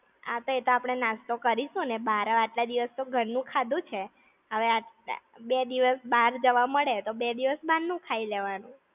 આ તો એ તો આપણે નાસ્તો કરીશુંને બાર. આટલા દિવસ તો ઘર નું ખાધું છે! હવે આટ, બે દિવસ બાર જવા મળે તો બે દિવસ બાર નું ખાઈ લેવાનું.